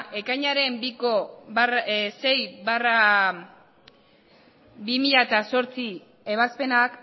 ekainaren biko sei barra bi mila zortzi ebazpenak